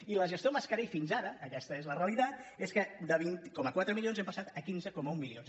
i la gestió mascarell fins ara aquesta és la realitat és que de vint coma quatre milions hem passat a quinze coma un milions